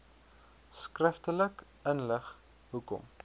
skriftelik inlig hoekom